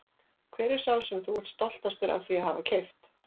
Hver er sá sem þú ert stoltastur af því að hafa keypt?